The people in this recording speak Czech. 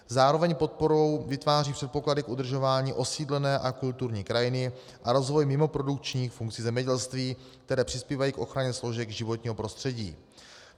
Zároveň podporou vytváří předpoklady k udržování osídlené a kulturní krajiny a rozvoji mimoprodukčních funkcí zemědělství, které přispívají k ochraně složek životního prostředí.